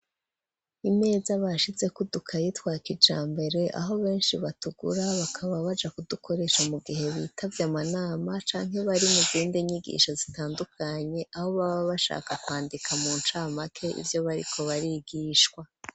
Imeza bashize kudukayi twa kijambere, aho benshi batugura bakaba baja kudukoresha mu gihe bitavye amanama, canke bari mu zindi nyigisho zitandukanye, aho baba bashaka kwandika mu ncamake ivyo bariko barigishwa.